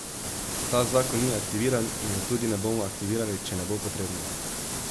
Ta zakon ni aktiviran in ga tudi ne bomo aktivirali, če ne bo potrebno.